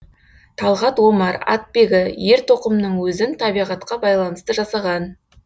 талғат омар атбегі ер тоқымның өзін табиғатқа байланысты жасаған